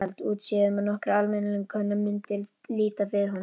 Útséð um að nokkur almennileg kona mundi líta við honum.